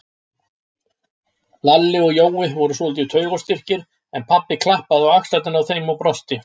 Lalli og Jói voru svolítið taugaóstyrkir, en pabbi klappaði á axlirnar á þeim og brosti.